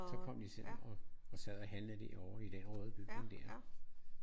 Så kom de og sad og handlede derovre i den røde bygning der